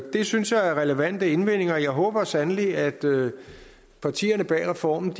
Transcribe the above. det synes jeg er relevante indvendinger jeg håber sandelig at partierne bag reformen